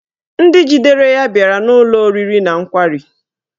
Ndị jidere ya bịara n'ụlọ oriri na nkwari